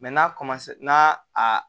n'a n'a a